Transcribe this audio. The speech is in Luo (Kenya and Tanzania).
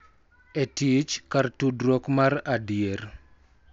E tich kar tudruok mar adier.